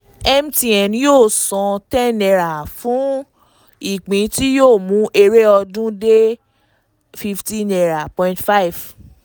mtn yóò san n ten fún ìpín tí yóò mú èrè ọdún dé n fifteen point five.